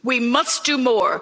the slide. We must